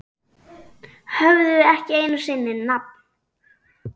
Höfðu ekki einu sinni nafn.